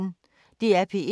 DR P1